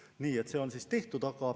Nii et see on tehtud.